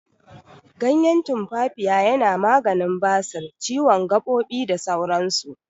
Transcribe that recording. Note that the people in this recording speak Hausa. Ganyen tumfafiya yana maganin basir, ciwon gaɓoɓi, da sauran su.